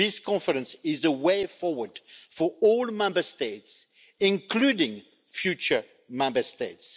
This conference is the way forward for all Member States, including future Member States.